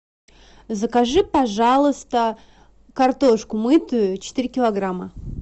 закажи пожалуйста картошку мытую четыре килограмма